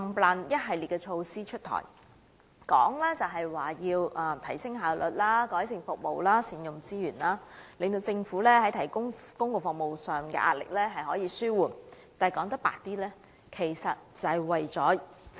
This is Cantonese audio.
上述一系列措施紛紛出台，美其名是提升效率、改善服務及善用資源，使政府在提供公共服務上的壓力得以紓緩，但說得直接一點，便是政府要節省開支。